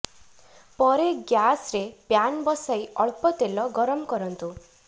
ପରେ ଗ୍ୟାସରେ ପ୍ୟାନ୍ ବସାଇ ଅଳ୍ପ ତେଲ ଗରମ କରନ୍ତୁ